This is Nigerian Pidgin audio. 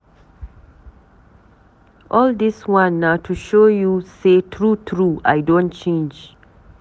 All dis one na to show you sey true-true, I don change.